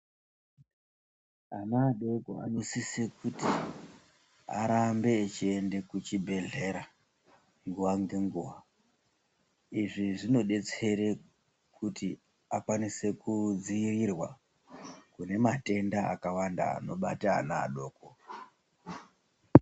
Ana adoko anosise kuti arambe echiende kuchibhedhlera nguwa ngenguwa. Izvi zvinodetsera kuti vakwanise kudzivirirwa kune matenda akawanda anobata ana adoko.